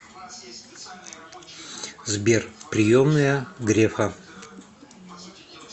сбер приемная грефа